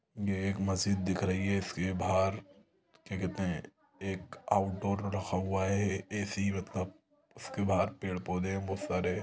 ये एक मस्जिद दिख रही है इसके बाहर क्या कहते हैं एक आउटडोर रखा हुआ है ऐसे ही मतलब इसके बाहर पेड़-पौधे हैं बहुत सारे--